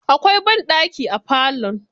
Akwai ɓanɗaki a falon.